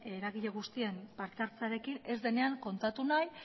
eragile guztien parte hartzearekin ez denean kontatu nahi